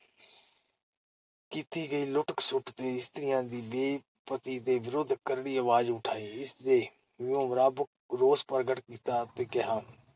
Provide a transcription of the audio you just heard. ਕੀਤੀ ਗਈ ਲੁੱਟ-ਖਸੁੱਟ ਤੇ ਇਸਤਰੀਆਂ ਦੀ ਬੇ-ਪਤੀ ਦੇ ਵਿਰੁੱਧ ਕਰੜੀ ਅਵਾਜ਼ ਉਠਾਈ । ਇਸ ਦੇ ਵਿਰੂਮ? ਰੱਬ ਕੋਲ ਰੋਸ ਪ੍ਰਗਟ ਕੀਤਾ ਤੇ ਕਿਹਾ